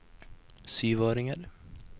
syvåringer